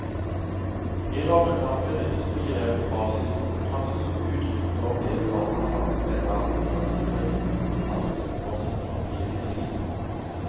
I rammeplanen benyttes begrepet basiskompetanse som uttrykk for det barna har ervervet av grunnleggende kompetanse for sitt framtidige liv.